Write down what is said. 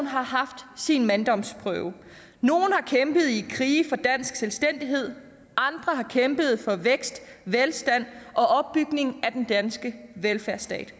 har haft sin manddomsprøve nogle har kæmpet i krige for dansk selvstændighed andre har kæmpet for vækst velstand og opbygning af den danske velfærdsstat